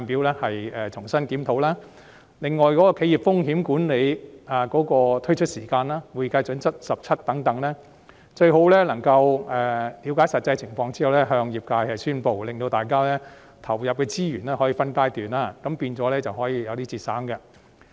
此外，有關就企業風險管理推出時間表、《國際財務報告準則第17號保險合同》等，當局最好在了解實際情況後向業界宣布，令大家可分階段投入資源，這樣便可節省資源。